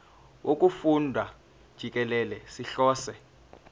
wokufunda jikelele sihlose